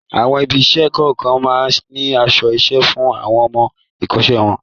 Àwọn ibi-iṣẹ́ kọ̀ọ̀kan máa ń ní aṣọ-iṣẹ́ fún àwọn ọmọ-ìkọ́ṣẹ́ wọn.